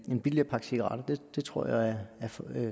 en billigere pakke cigaretter det tror jeg er